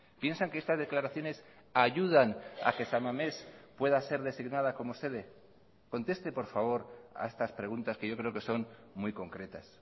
piensan que estas declaraciones ayudan a que san mamés pueda ser designada como sede conteste por favor a estas preguntas que yo creo que son muy concretas